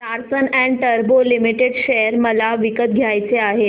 Larsen and टुर्बो limited share मला विकत घ्यायचे आहेत